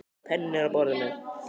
Penninn er á borðinu.